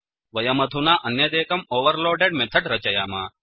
वयमधुना अन्यदेकं overloaded method रचयाम